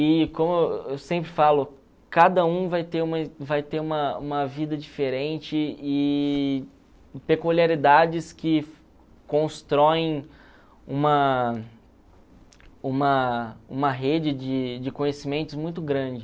E, como eu sempre falo, cada um vai ter uma vida diferente e peculiaridades que constroem uma uma uma rede de de conhecimentos muito grande.